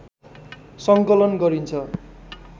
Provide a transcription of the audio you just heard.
सङ्कलन गरिन्छ